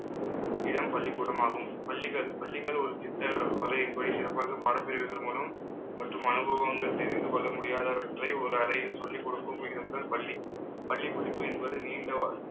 இடம் பள்ளிக்கூடமாகும். பள்ளிகள் பள்ளிகள் ஒரு திட்ட வரையின் படி சிறப்பாக பாடப்பிரிவுகள் மூலம் மற்றும் அனுபவங்கள் தெரிந்து கொள்ள முடியாதவற்றை ஒரு அறையில் சொல்லிக் கொடுக்கும் விதம்தான் பள்ளி பள்ளிப் படிப்பு என்பது நீண்ட